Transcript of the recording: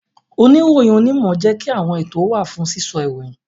Oniroyin onimo jẹ́ kí àwọn ètò wa fún sísọ ìròyìn